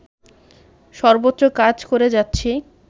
সর্বোচ্চ কাজ করে যাচ্ছি